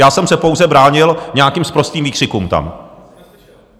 Já jsem se pouze bránil nějakým sprostým výkřikům tam.